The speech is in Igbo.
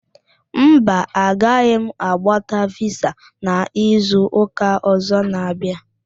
Mba, a ga m agbata visa n'izu ụka ọzọ na-abịa